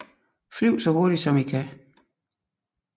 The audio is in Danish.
Flyv så hurtig som i kan